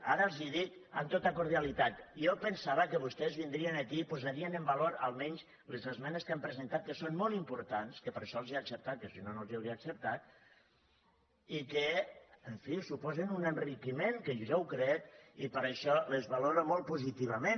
ara els ho dic amb tota cordia·litat jo pensava que vostès vindrien aquí i posarien en valor almenys les esmenes que han presentat que són molt importants que per això les hi he acceptat que si no no les hi hauria acceptat i que en fi suposen un enriquiment que jo ho crec i per això les valoro molt positivament